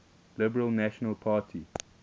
liberal national party